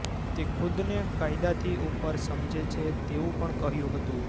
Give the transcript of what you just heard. તે ખુદને કાયદાથી ઉપર સમજે છે તેવું પણ કહ્યું હતું